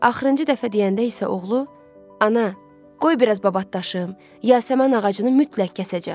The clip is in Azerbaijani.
Axırıncı dəfə deyəndə isə oğlu: "Ana, qoy biraz babatlaşım, yasəmən ağacını mütləq kəsəcəm."